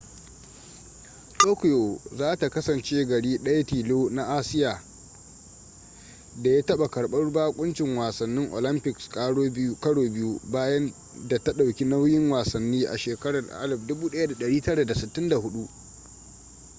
tokyo za ta kasance gari daya tilo na asiya da ya taba karbar bakuncin wasannin olympics karo biyu bayan da ta dauki nauyin wasannin a shekarar 1964